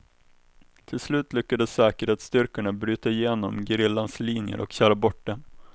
Till slut lyckades säkerhetsstyrkorna bryta genom gerillans linjer och köra bort dem.